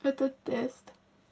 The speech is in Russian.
это тест